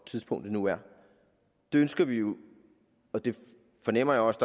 tidspunktet nu er det ønsker vi jo og det fornemmer jeg også